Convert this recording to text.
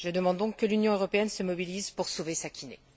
Je demande donc que l'Union européenne se mobilise pour sauver Sakineh.